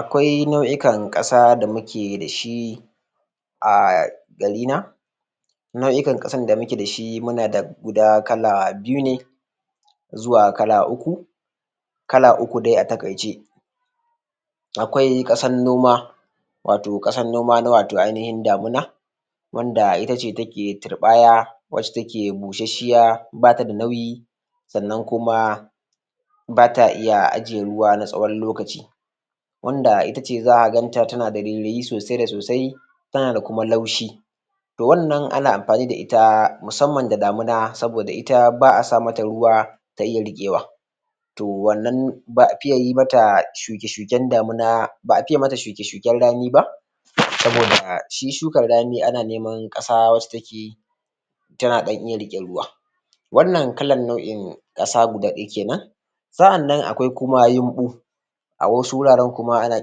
Akwai nau'ukan ƙasa da muke da shi a garina nau'ukan ƙasan da muke da shi muna da guda kala biyu ne zuwa kala uku kala uku dai a taƙaice akwai ƙasan noma watau kasan noma na watau ainihin damuna wanda ita ce take turɓaya wacce take busashiya bata da nauyi sannan kuma bata iya ajiye ruwa na tsawon lokaci wanda ita ce zaka ganta tana da rairayi sosai da sosai tana da kuma laushi to wannan ana amfani da ita musamman da damuna saboda ita ba a sa mata ruwa zao iya riƙewa to wannan ba a fiye mata shuke shuken damuna ba a fiye mata shuke shuken rani ba saboda shi shukar rani ana neman ƙasa wacce take tana ɗan iya rike ruwa wannan kalan nau'in ƙasa guda ɗaya kenan sa'annan kuma akwai yunɓu a wasu wuraren kuma ana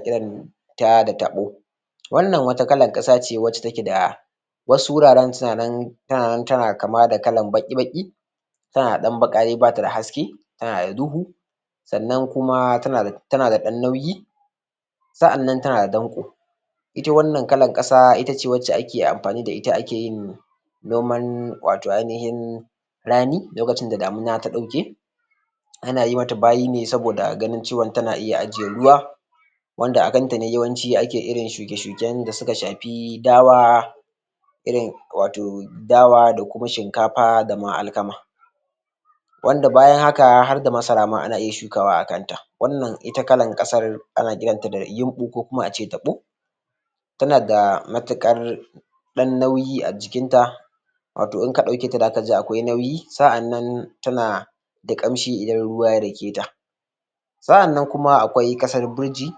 kiran ta da taɓo wannan wata kalan ƙasa ce wacce take da wasu wuraren suna nan tana nan tana kama da kalan baƙi baƙi tana da ɗan baƙa dai bata da haske tana da duhu sannan kuma tana da ɗan nauyi sa'annan tana da danƙo ita wannan kalar ƙasa ita ce wacce ak amfani da ita ake noman watau ainihin rani lokacin da damuna ta ɗauke ana yi mata bayi ne saboda ganin cewa tana iya ajiye ruwa wanda a kanta ne yawanci ake irin shuke shuken da suka shafi dawa irin watau dawa da shnkafa da ma alkama wanda bayan haka har da ma masara ma ana iya shukawaa kan ta. wannan ita kalan ƙasan ana kiranta da yunɓu ko ace taɓo tana da matuƙar ɗan nauyi a jikinta watau inka ɗauki ta zaka ji akwai nauyi sa'annan tana da ƙamshi idan ruwa ya dake ta sa'annan kuma akwai ƙasar birji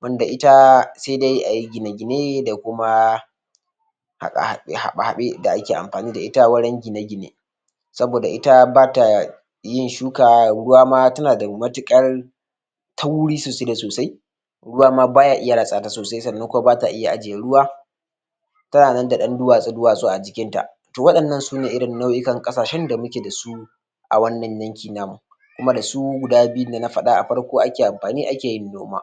wanda ita sai dai ayi gine-gine da kuma haɓe-haɓe da ake amfani da ita wurin gine-gine saboda ita ba ta yin shuka ruwa ma tana da matuƙar tauri sosai da sosai ruwa ma baya iya ratsa ta sosai sannan kuma bata iya ajiye ruwa tana nan da ɗan duwatsu-duwatsu a jikin ta to waɗannan sune irin nau'ikan ƙasashen da muke da su a wannan yanki namu kuma da su guda biyunnan da na faɗa a farko ake amfani ake noma